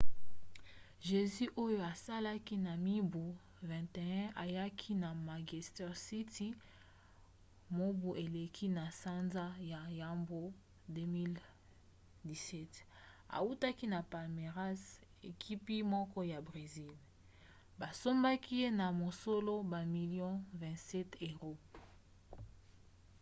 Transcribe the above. jesus oyo azalaki na mibu 21 ayaki na manchester city mobu eleki na sanza ya yambo 2017 autaki na palmeiras ekipi moko ya bresil basombaki ye na mosolo bamilio 27£